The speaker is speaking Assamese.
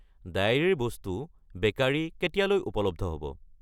গাখীৰৰ বস্তু (Dairy items), বেকাৰী (Bakery) কেতিয়ালৈ উপলব্ধ হ'ব?